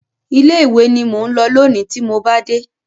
Ilé ìwé ni mò ń lọ lónìí tí mo bá dé.